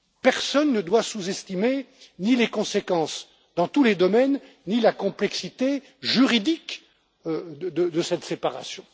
Personne ne doit sous estimer ni les conséquences dans tous les domaines, ni la complexité juridique de cette séparation.